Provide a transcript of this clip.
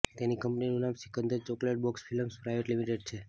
તેની કંપનીનું નામ Sikandar chocolate box films private limited છે